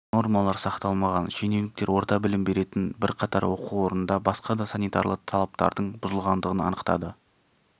нормалар сақталмаған шенеуніктер орта білім беретін бірқатар оқу орнында басқа да санитарлы талаптардың бұзылғандығын анықтады